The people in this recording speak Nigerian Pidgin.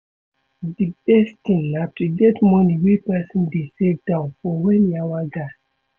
Di best thing na to get money wey person dey save down for when yawa gas